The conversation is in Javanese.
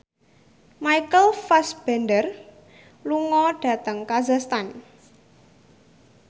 Michael Fassbender lunga dhateng kazakhstan